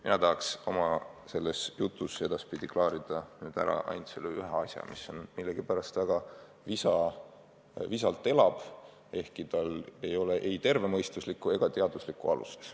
Mina tahaks oma jutus klaarida ära ühe asja, mis millegipärast väga visalt elab, ehkki tal ei ole ei tervemõistuslikku ega teaduslikku alust.